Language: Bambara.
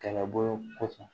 Kɛlɛbolo kɔfɛ